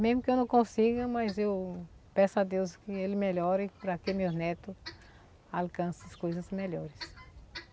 Mesmo que eu não consiga, mas eu peço a Deus que ele melhore para que meu neto alcance as coisas melhores.